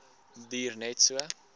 duur net so